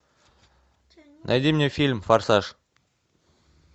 найди мне фильм форсаж